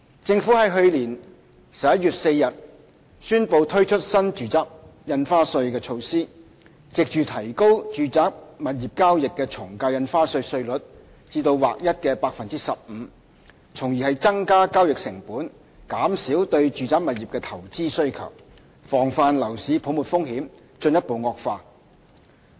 政府在去年11月4日宣布推出新住宅印花稅的措施，藉着提高住宅物業交易的從價印花稅稅率至劃一的 15%， 從而增加交易成本，減少對住宅物業的投資需求，防範樓市泡沫風險進一步惡化。